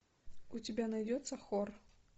у тебя найдется хор